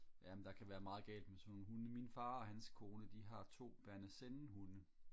ja men der kan være meget galt med sådan nogle hunde min far og hans kone de har to Berner Sennenhunde